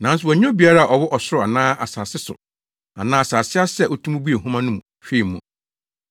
Nanso wɔannya obiara a ɔwɔ ɔsoro anaa asase so anaa asase ase a otumi buee nhoma no mu hwɛɛ mu.